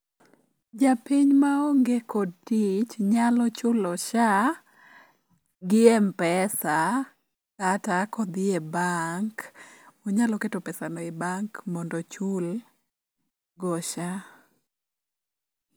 Japiny maonge kod tich nyalo chulo SHA gi mpesa kata kodhi e bank onyalo keto pesano e bank mondo ochulgo SHA.